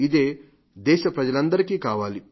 ఇదే దేశ ప్రజలందరికీ కావాలి